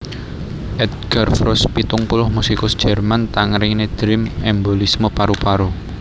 Edgar Froese pitung puluh musikus Jerman Tangerine Dream embolisme paru paru